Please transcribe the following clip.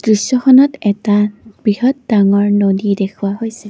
দৃশ্যখনত এটা বৃহৎ ডাঙৰ নদী দেখুওৱা হৈছে।